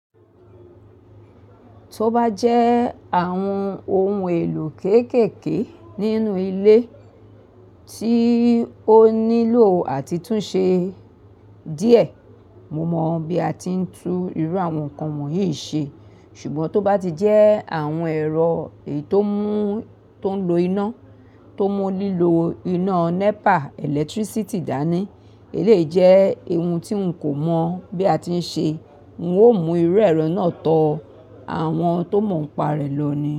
Tó bá jẹ́ àwọn ohun èlò kéékèèké nínú ilé tí ó nílò àtìtúnṣe díẹ̀, mo mọ bí a ti ń tún irú àwọn nǹkan wọ̀nyí ṣe. Ṣùgbọ́n tó bá ti jẹ́ àwọn ẹ̀rọ èyi tómú tó ń lo iná, tó mú lílo iná NEPA, ẹlẹtírísítì dá ní, eléyi jẹ́, ohun tí n kò mọ̀ bí a ti ń ṣe, n ó mú irú ẹ̀rọ náà tọ àwọn tó mọ̀ ọ́n pa rẹ̀ lọ ní.